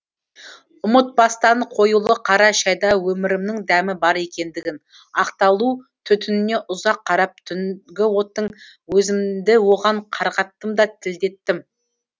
ұмытпастан қоюлы қара шәйда өмірімнің дәмі бар екендігін ақталу түтініне ұзақ қарап түнгі оттың өзімді оған қарғаттым да тілдеттім